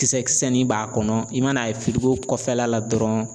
Kisɛ kisɛnin b'a kɔnɔ i man n'a ye fili o kɔfɛla la dɔrɔn.